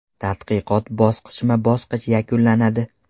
Tadqiqot bosqichma-bosqich yakunlanadi.